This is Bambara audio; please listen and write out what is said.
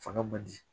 Fanga ma di